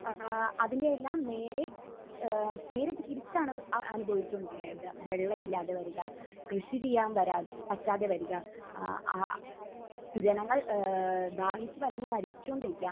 ഏഹ് അതിന്റെയെല്ലാം നേരെ ഏഹ് നേരെ തിരിച്ചാണ് അഹ് അനുഭവിച്ചുകൊണ്ടിരിക്കുന്നത്. എന്താ വെള്ളം ഇല്ലാതെ വരുക, കൃഷി ചെയ്യാൻ വര...പറ്റാതെ വരുക. ആഹ് ആഹ് ജനങ്ങൾ ഏഹ് ദാഹിച്ച് വലഞ്ഞ് മരിച്ചുകൊണ്ടിരിക്കുക